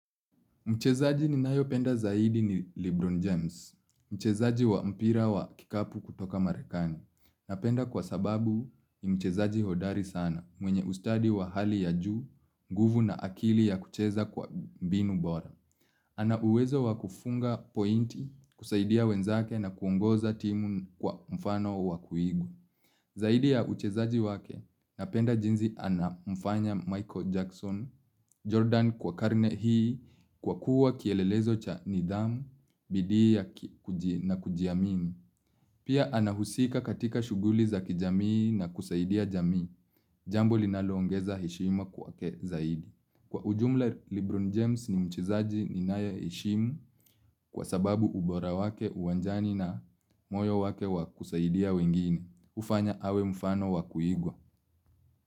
Mchezaji ninayopenda zaidi ni Lebron James. Mchezaji wa mpira wa kikapu kutoka Marekani. Napenda kwa sababu ni mchezaji hodari sana mwenye ustadi wa hali ya juu, nguvu na akili ya kucheza kwa mbinu bora. Ana uwezo wa kufunga pointi, kusaidia wenzake na kuongoza timu kwa mfano wa kuigwa. Zaidi ya uchezaji wake napenda jinsi anamfanya Michael Jackson, Jordan kwa karne hii kwa kuwa kielelezo cha nidhamu, bidii na kujiamini. Pia anahusika katika shughuli za kijamii na kusaidia jamii. Jambo linaloongeza heshima kwake zaidi. Kwa ujumla, Lebron James ni mchezaji ninayeheshimu kwa sababu ubora wake uwanjani na moyo wake wa kusaidia wengine. Hufanya awe mfano wa kuigwa.